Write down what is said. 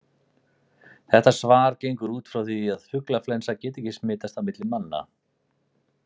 Þetta svar gengur út frá því að fuglaflensa geti ekki smitast á milli manna.